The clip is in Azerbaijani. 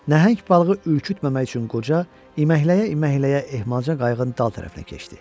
Nəhəng balığı ürkütməmək üçün qoca iməkləyə-iməkləyə ehmalca qayığın dal tərəfinə keçdi.